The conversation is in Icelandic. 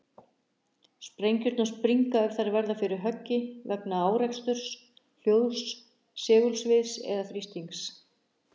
Sprengjurnar springa ef þær verða fyrir höggi vegna áreksturs, hljóðs, segulsviðs eða þrýstings.